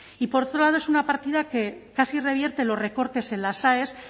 y por otro lado es una partida que casi revierte los recortes en las aes